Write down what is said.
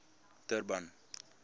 durban